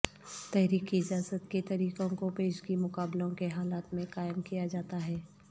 تحریک کی اجازت کے طریقوں کو پیشگی مقابلوں کے حالات میں قائم کیا جاتا ہے